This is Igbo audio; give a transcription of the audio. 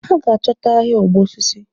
Ha ga achọta ahia ọgbọ osisi.